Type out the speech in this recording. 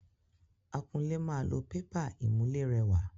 Akunlé máa lo pépà ìmùlérẹwà.